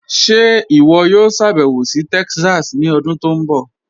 Ṣe iwọ yòò ṣàbẹwo sí Texas ni ọdún tó nbọ?